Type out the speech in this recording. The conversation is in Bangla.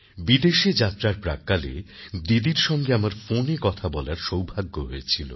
বিদেশ যাত্রার প্রাক্কালে দিদির সঙ্গে আমার ফোনে কথা বলার সৌভাগ্য হয়েছিল